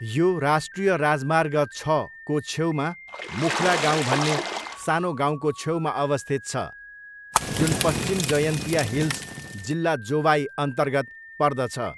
यो राष्ट्रिय राजमार्ग छको छेउमा मुख्ला गाउँ भन्ने सानो गाउँको छेउमा अवस्थित छ, जुन पश्चिम जयन्तिया हिल्स जिल्ला जोवाईअन्तर्गत पर्दछ।